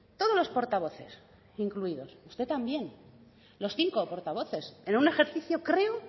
todos los portavoces incluidos usted también los cinco portavoces en un ejercicio creo